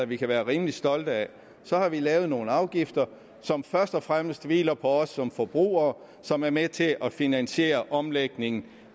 vi kan være rimelig stolte af så har vi lavet nogle afgifter som først og fremmest hviler på os som forbrugere og som er med til at finansiere omlægningen